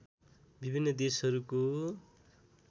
विभिन्न देशहरूको